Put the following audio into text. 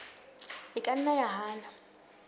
e ka nna ya hana